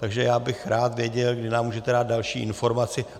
Takže já bych rád věděl, kdy nám můžete dál další informaci.